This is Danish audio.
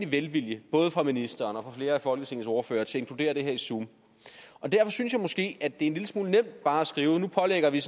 velvilje både fra ministeren og flere af folketingets ordførere til at inkludere det her i zoom og derfor synes jeg måske er en lille smule nemt bare at skrive at nu pålægger vi